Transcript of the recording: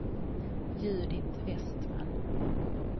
Judit Vestman